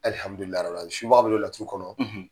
subaga be don laturu kɔnɔ.